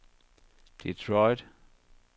Detroit